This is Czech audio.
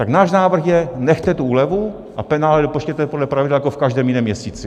Tak náš návrh je: nechte tu úlevu a penále vypočtěte podle pravidel jako v každém jiném měsíci.